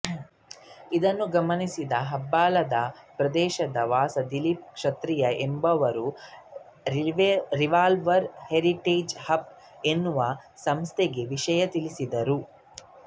ಇದನ್ನು ಗಮನಿಸಿದ ಹೆಬ್ಬಾಳ ಪ್ರದೇಶದ ವಾಸಿ ದಿಲೀಪ್ ಕ್ಷತ್ರಿಯ ಎಂಬುವವರು ರಿವೈವಲ್ ಹೆರಿಟೇಜ್ ಹಬ್ ಎನ್ನುವ ಸಂಸ್ಥೆಗೆ ವಿಷಯ ತಿಳಿಸಿದರು